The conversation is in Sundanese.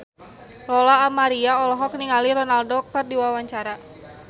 Lola Amaria olohok ningali Ronaldo keur diwawancara